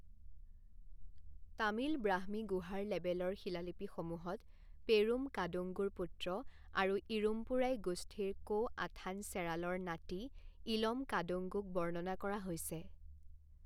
তামিল ব্ৰাহ্মী গুহাৰ লেবেলৰ শিলালিপিসমূহত পেৰুম কাদুঙ্গোৰ পুত্ৰ, আৰু ইৰুম্পোৰাই গোষ্ঠীৰ কো আথান চেৰালৰ নাতি ইলম কাদুঙ্গোক বৰ্ণনা কৰা হৈছে।